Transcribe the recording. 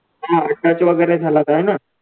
हा touch वैगरे झाला तर हा नं